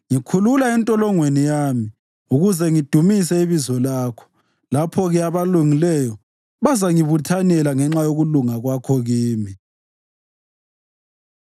Ngikhulula entolongweni yami, ukuze ngidumise ibizo lakho. Lapho-ke abalungileyo bazangibuthanela ngenxa yokulunga kwakho kimi.